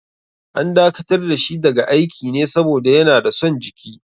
An dakatar da shi daga aiki ne saboda yana da son jiki.